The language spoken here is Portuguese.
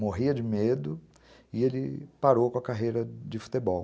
morria de medo e ele parou com a carreira de futebol.